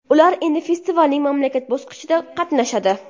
Ular endi festivalning mamlakat bosqichida qatnashadi.